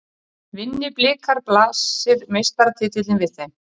Vinni Blikar blasir meistaratitillinn við þeim